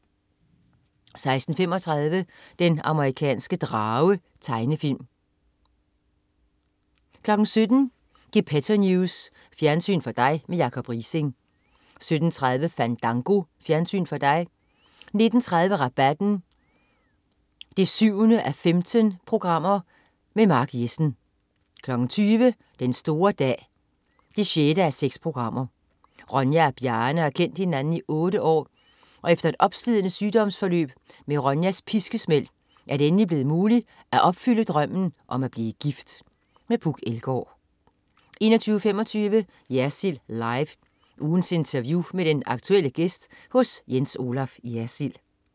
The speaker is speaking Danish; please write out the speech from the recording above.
16.35 Den amerikanske drage. Tegnefilm 17.00 Gepetto News. Fjernsyn for dig med Jacob Riising 17.30 Fandango. Fjernsyn for dig 19.30 Rabatten 7:15. Mark Jessen 20.00 Den store dag 6:6. Ronja og Bjarne har kendt hinanden i otte år, og efter et opslidende sygdomsforløb med Ronjas piskesmæld er det endelig blevet muligt at opfylde drømmen om at blive gift. Puk Elgaard 21.25 Jersild Live. Ugens interview med en aktuel gæst hos Jens Olaf Jersild